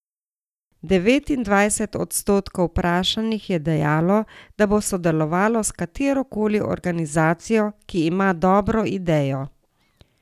Devetindvajset odstotkov vprašanih je dejalo, da bo sodelovalo s katero koli organizacijo, ki ima dobro idejo.